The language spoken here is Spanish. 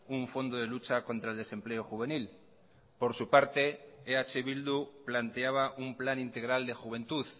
un fondo de lucha contra el desempleo juvenil por su parte eh bildu planteaba un plan integral de juventud